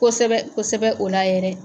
Kosɛbɛ kosɛbɛ o la yɛrɛ